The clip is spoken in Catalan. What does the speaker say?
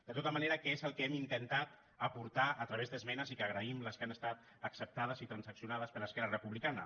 de tota manera què és el que hem intentat aportar a través d’esmenes i agraïm les que han estat acceptades i transaccionades per esquerra republicana